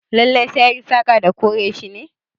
Lallai sai anyi saƙa da kore shi ne?